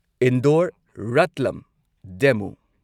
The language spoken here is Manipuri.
ꯏꯟꯗꯣꯔ ꯔꯥꯠꯂꯝ ꯗꯦꯃꯨ